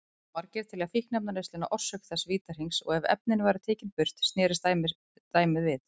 Margir telja fíkniefnaneysluna orsök þessa vítahrings og ef efnin væru tekin burt snerist dæmið við.